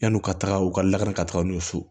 Yan'u ka taga u ka lakana ka taga n'u ye so